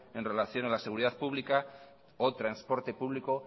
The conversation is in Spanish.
en relación a la seguridad pública o transporte público